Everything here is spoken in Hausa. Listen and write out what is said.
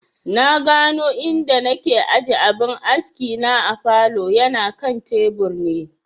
Na gano inda na aje abin askina a falow, yana kan tebur ne